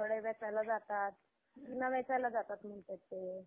मुळे वाचवण्यात आल्या. नाहीतर ही लाट खूप अं